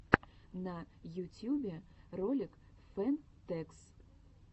на ютьюбе ролик фэн тэкс